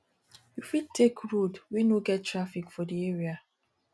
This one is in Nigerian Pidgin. you fit take road wey no get traffic for di area